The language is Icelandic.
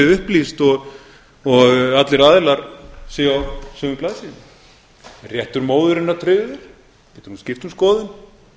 upplýst og allir aðilar séu á sömu blaðsíðunni réttur móðurinnar tryggður getur hún skipt um skoðun